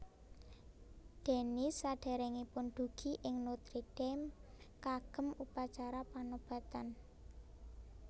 Denis sadèrèngipun dugi ing Notre Dame kagem upacara panobatan